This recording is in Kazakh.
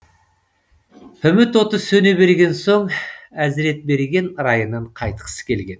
үміт оты сөне берген соң әзіретберген райынан қайтқысы келген